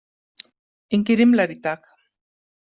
Engir rimlar í dag.